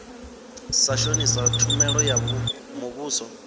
sa shonisa tshumelo ya muvhuso